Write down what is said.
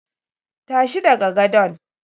Tashi daga gadon!